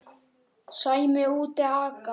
Sæmi úti að aka.